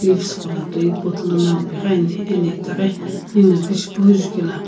leaves ghola toi pot lana pighiani ena itaghi ninguno pishipu jujela.